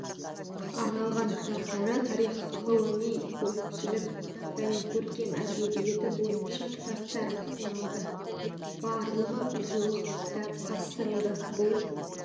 арналған кітаптары тарих ғылыми-көпшілік және көркем әдебиеті бойынша кітаптар ұсынылады барлығы жуық кітап тапсырылды бұл